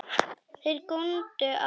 Þeir góndu á hann.